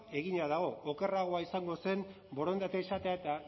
egina dago okerragoa izango zen borondatea izatea eta